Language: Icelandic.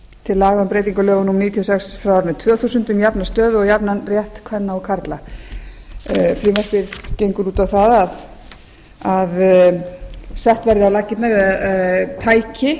til laga um breytingu á lögum númer níutíu og sex tvö þúsund um jafna stöðu og jafnan rétt kvenna og karla frumvarpið gengur út á það að sett verði á laggirnar tæki